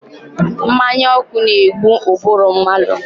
Mmanya ọkụ na-egbu ụbụrụ mmadụ.